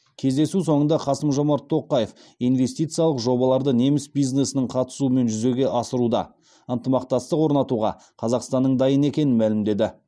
кездесу соңында қасым жомарт тоқаев инвестициялық жобаларды неміс бизнесінің қатысуымен жүзеге асыруда ынтымақтастық орнатуға қазақстанның дайын екенін мәлімдеді